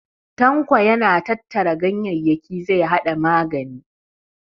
Tanko yana tattara ganyayyaki zai haɗa magani.